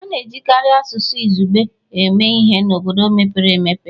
A na-ejikarị asụsụ izugbe eme ihe n'obodo mepere emepe